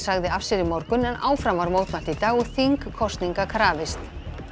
sagði af sér í morgun en áfram var mótmælt í dag og þingkosninga krafist